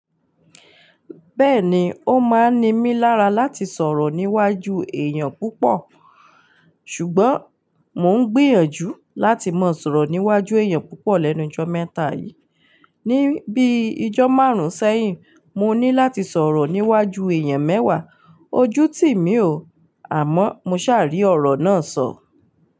Bẹ́ẹ̀ni, ó máa ń ní mí lára láti sọ̀rọ̀ níwájú èèyàn púpọ̀, ṣùgbọ́n mo ń gbìyànjú láti mọ̀ sọ̀rọ̀ níwájú èèyàn púpọ̀ lẹ́nu jọ́ mẹ́ta yìí. Ni bíi ijọ́ márùn-ún sẹ́yìn, mo ní láti sọ̀rọ̀ níwájú èèyàn mẹ́wàá, ojú tì mí ò, àmọ́ mo ṣàárí ọ̀rọ̀ náà sọ.